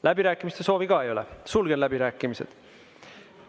Läbirääkimiste soovi ka ei ole, sulgen läbirääkimised.